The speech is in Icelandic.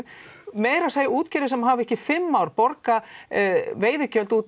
meira að segja útgerðir sem hafa ekki í fimm ár borgað veiðigjöld út